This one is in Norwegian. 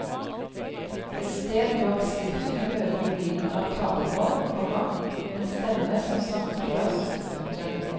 Et sted bak skriften hører du lyden av talemål, komma en stemme som snakker til oss. punktum